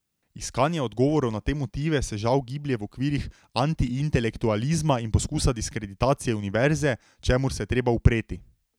Iskanje odgovorov na te motive se žal giblje v okvirih antiintelektualizma in poskusa diskreditacije univerze, čemur se je treba upreti.